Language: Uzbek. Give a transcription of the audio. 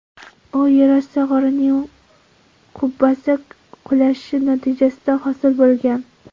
U yerosti g‘orining qubbasi qulashi natijasida hosil bo‘lgan.